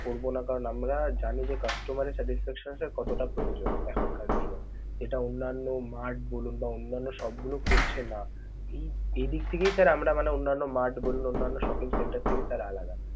করব না কারণ আমরা জানি যে customer এর satisfaction টা কতটা প্রয়োজন এখনকার দিনে. যেটা অন্যান্য mart বলুন বা অন্যান্য shop গুলো করছে না. এদিক দিক থেকেই sir মানে আমরা অন্যান্য mart বলুন, অন্যান্য shopping center থেকে sir আলাদা.